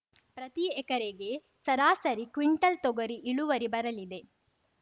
ಪ್ರತಿ ಎಕರೆಗೆ ಸರಾಸರಿ ಕ್ವಿಂಟಾಲ್‌ ತೊಗರಿ ಇಳುವರಿ ಬರಲಿದೆ